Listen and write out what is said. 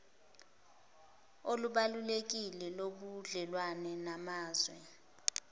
olubalulekile lobudlelwane namazwe